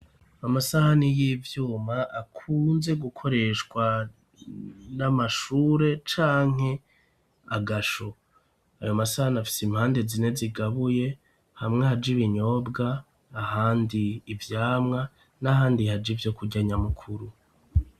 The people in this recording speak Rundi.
Amasahani y'ivyuma akunze gukoreshwa n'amashure, canke agasho ,ayo masahani afise impande zine zigabuye hamwe haj' ibinyobwa ahandi ivyamwa, n'ahandi haj 'ivyo kurya nyamukuru.